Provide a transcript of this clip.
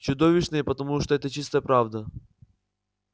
чудовищные потому что это чистая правда